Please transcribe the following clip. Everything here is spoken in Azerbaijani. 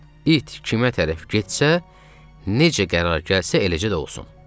İt kimə tərəf getsə, necə qərar gəlsə, eləcə də olsun.